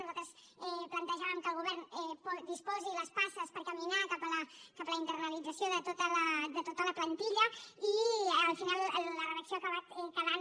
nosaltres plantejàvem que el govern disposi les passes per caminar cap a la internalització de tota la plantilla i al final la redacció ha acabat quedant